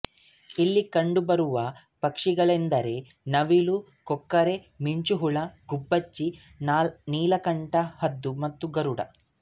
ಇಲ್ಲಿ ಕಂಡುಬರುವ ಪಕ್ಷಿಗಳೆಂದರೆ ನವಿಲು ಕೊಕ್ಕರೆ ಮಿಂಚುಳ್ಳಿ ಗುಬ್ಬಚ್ಚಿ ನೀಲಕಂಠ ಹದ್ದು ಮತ್ತು ಗರುಡ